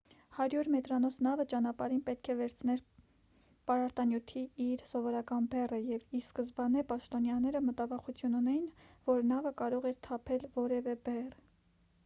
100 մետրանոց նավը ճանապարհին պետք է վերցներ պարարտանյութի իր սովորական բեռը և ի սկզբանե պաշտոնյաները մտավախություն ունեին որ նավը կարող էր թափել որևէ բեռ